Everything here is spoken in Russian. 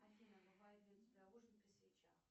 афина бывает ли у тебя ужин при свечах